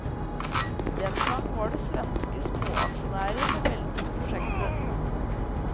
Den gang var det svenske småaksjonærer som veltet prosjektet.